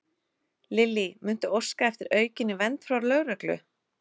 Lillý: Muntu óska eftir aukinni vernd frá lögreglu?